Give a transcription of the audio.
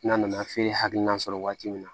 N'a nana feere hakilinan sɔrɔ waati min na